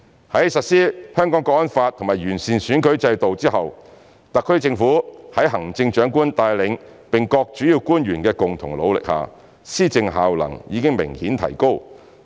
在實施《香港國安法》和完善選舉制度後，特區政府在行政長官帶領並各主要官員的共同努力下，施政效能已明顯提高。